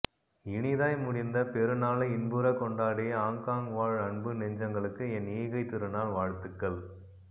இனிதாய் முடிந்த பெருநாளை இன்புற கொண்டாடிய ஹாங்காங் வாழ் அன்பு நெஞ்சங்களுக்கு என் ஈகை திருநாள் வாழ்த்துக்கள்